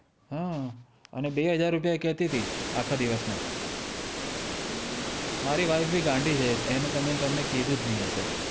હમ અને બેહજાર રૂપિયા એ કેતી તી આખા દિવશ ના હમ મારી વાઇફે ભી ગાડી છે તમને કીધું જ નય હશે